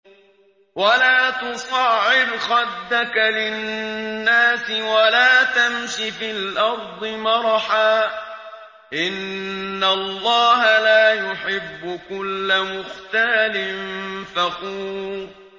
وَلَا تُصَعِّرْ خَدَّكَ لِلنَّاسِ وَلَا تَمْشِ فِي الْأَرْضِ مَرَحًا ۖ إِنَّ اللَّهَ لَا يُحِبُّ كُلَّ مُخْتَالٍ فَخُورٍ